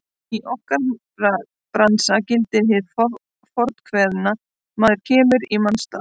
Í okkar bransa gildir hið fornkveðna: Maður kemur í manns stað.